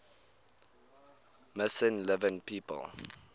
missing living people